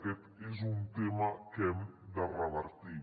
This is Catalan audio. aquest és un tema que hem de revertir